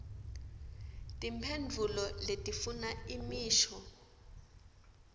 timphendvulo letifuna imisho